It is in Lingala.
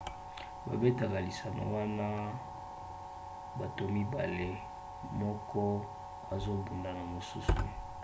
babetaka lisano wana bato mibale moko azobunda na mosusu